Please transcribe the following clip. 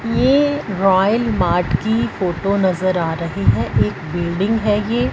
ये Royal Mart की photo नजर आ रही है एक बिल्डिंग है ये--